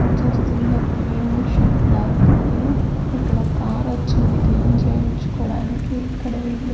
Cleaning shed ల ఉంది ఇక్కడ ఒ కారు వొచ్చింది క్లీన్ చేయించుకోవడానికి ఇక్కడ వీళ్ళు.